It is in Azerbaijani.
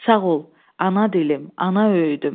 Sağ ol, ana dilim, ana öyüdüm.